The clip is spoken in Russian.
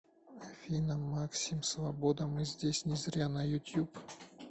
афина максим свобода мы здесь не зря на ютуб